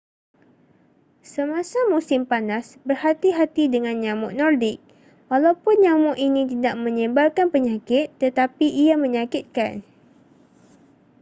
semasa musim panas berhati-hati dengan nyamuk nordic walaupun nyamuk ini tidak menyebarkan penyakit tetapi ia menyakitkan